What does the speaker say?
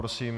Prosím.